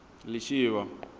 lishivha